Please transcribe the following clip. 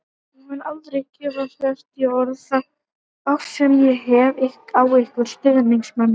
Ég mun aldrei geta fært í orð þá ást sem ég hef á ykkur stuðningsmönnum.